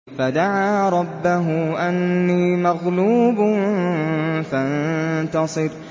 فَدَعَا رَبَّهُ أَنِّي مَغْلُوبٌ فَانتَصِرْ